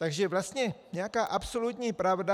Takže vlastně nějaká absolutní pravda...